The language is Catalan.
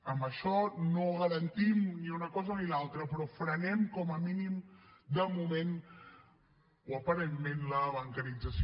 amb això no garantim ni una cosa ni l’altra però frenem com a mínim de moment o aparentment la bancarització